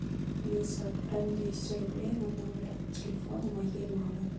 алиса отправь двести рублей на номер телефона моей мамы